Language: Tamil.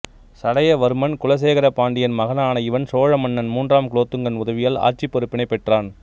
சடையவர்மன் குலசேகர பாண்டியன் மகனான இவன் சோழ மன்னன் மூன்றாம் குலோத்துங்கன் உதவியால் ஆட்சிப் பொறுப்பினைப் பெற்றான்